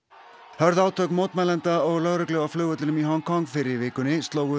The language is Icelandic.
hörð átök mótmælenda og lögreglu á flugvellinum í Hong Kong fyrr í vikunni slógu